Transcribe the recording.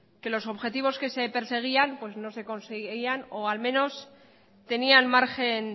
que los objetivos que se perseguían pues no se conseguían o al menos tenían margen